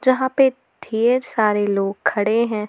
जहां पे ढेर सारे लोग खड़े हैं।